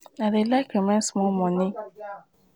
i dey like remain small moni wey i go give pipu wey dey beg for road.